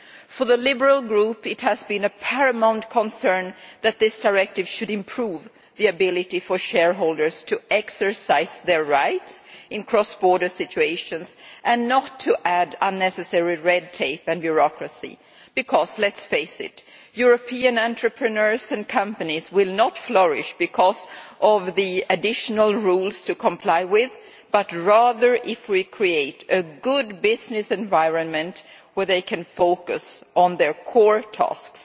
For the Liberal group it has been a paramount concern that this directive should improve the ability for shareholders to exercise their rights in cross border situations and not to add unnecessary red tape and bureaucracy, because let's face it, European entrepreneurs and companies will not flourish because of the additional rules to comply with, but rather if we create a good business environment where they can focus on their core tasks.